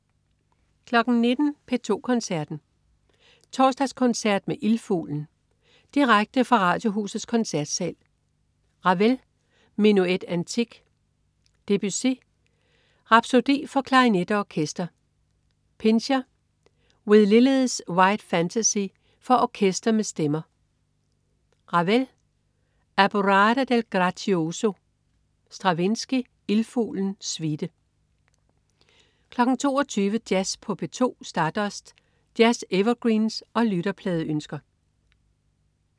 19.00 P2 Koncerten. Torsdagskoncert med Ildfuglen. Direkte fra Radiohusets Koncertsal. Ravel: Menuet Antique. Debussy: Rapsodi for klarinet og orkester. Pintscher: With Lilies White Fantasi for orkester med stemmer. Ravel: Alborada del gracioso. Stravinsky: Ildfuglen, suite 22.00 Jazz på P2. Stardust. Jazz-evergreens og lytterpladeønsker